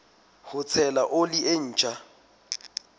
ho tshela oli e ntjha